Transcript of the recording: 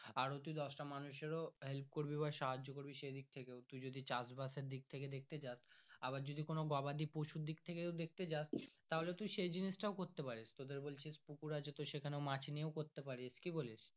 আরো তুই দশটা মানুষের ও help করবি বা সাহায্য করবি সে দিক থেকে তুই যদি চাষ বাস এর দিক থাকে দেখতে যাস আবার যদি কোনো গবাদি পশু দিকথেকে দেখতে যাস তাহলে তুই সে জিনিস টাও করতে পারিস তোদের বলছি পুকুর আছে তো সে খানে মাছ নিয়েও করতে পারিস কি বলিস।